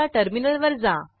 आता टर्मिनलवर जा